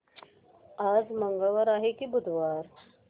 आज मंगळवार आहे की बुधवार